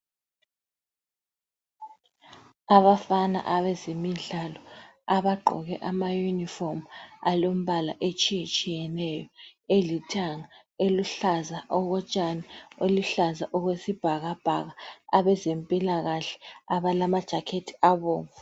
Abafana abezemidlalo abagqoke amayunifomu alombala etshiye tshiyeneyo atshiyeneyo elithanga, eluhlaza okotshani eluhlaza okweisbhakabhaka, abezempilakahle abalama jakhethi abomvu.